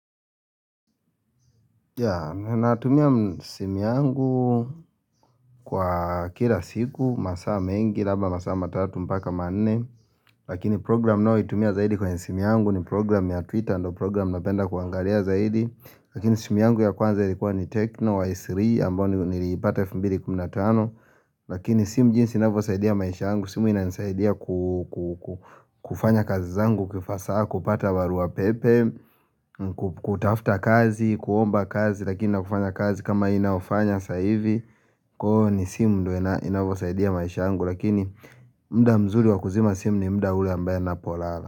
Yeah ninatumia simi yangu kwa kila siku masaa mengi labda masaa matatu mpaka manne lakini program ninayo itumia zaidi kwenye simi yangu ni program ya twitter ndio program na penda kuangalia zaidi Lakini simi yangu ya kwanza ilikuwa ni techno y3 ambayo ni nilipata 2015 Lakini simu jinsi inavyosaidia maisha yangu simu inanisaidia kufanya kazi zangu hasaa kupata barua pepe kutafuta kazi, kuomba kazi lakini na kufanya kazi kama hii ninayoiafanya saivi, kwa hio ni simu ndio inavyosaidia maisha yangu lakini mda mzuri wa kuzima simu ni mda ule ambao na polala.